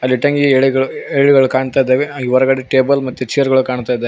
ಅಲ್ಲಿ ಇಟ್ಟಂಗಿ ಎಲೆಗಳು ಕಾಣ್ತಿದ್ದವೆ ಹಾಗೆ ಒರಗಾಡೇ ಟೇಬಲ್ ಮತ್ತು ಚೇರುಗಳು ಕಾಣುತ್ತ ಇದಾವೆ.